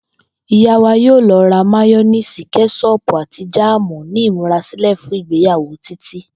Ìyá wa yóò lo̩ rà máyó̩néèsì, ké̩s̩ó̩ò̩pù àti jáàmù ní ìmúrasílè̩ fún ìgbéyàwó Títí